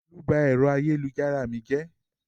Olú ba ẹ̀rọ ayélujára mi jẹ́?